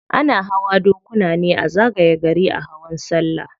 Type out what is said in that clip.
Ana hawa dokuna ne a zagaye gari a hawan sallah.